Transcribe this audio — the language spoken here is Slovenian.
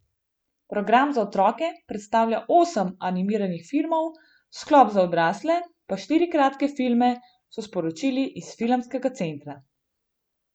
Program za otroke predstavlja osem animiranih filmov, sklop za odrasle pa štiri kratke filme, so sporočili iz filmskega centra.